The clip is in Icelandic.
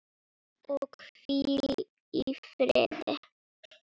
Og hvíl í friði.